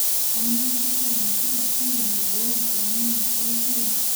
Ama mpishai nasipa kidim aiboi emion eishoi?